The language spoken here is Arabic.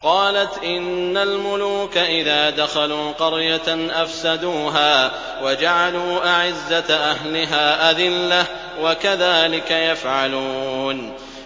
قَالَتْ إِنَّ الْمُلُوكَ إِذَا دَخَلُوا قَرْيَةً أَفْسَدُوهَا وَجَعَلُوا أَعِزَّةَ أَهْلِهَا أَذِلَّةً ۖ وَكَذَٰلِكَ يَفْعَلُونَ